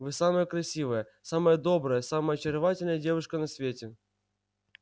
вы самая красивая самая добрая самая очаровательная девушка на свете